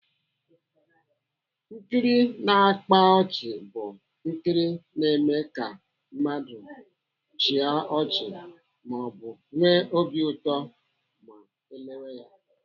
Nkiri na-akpa ọchị bụ nkiri na-eme ka mmadụ chịa ọchị maọbụ nwee obi ụtọ ma ọ lewe ya.